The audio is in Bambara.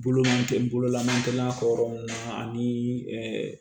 Bolo ma tɛ n bolo la n'an tɛ n'a fɔ yɔrɔ min na ani